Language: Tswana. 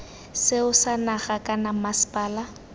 seo sa naga kana mmasepala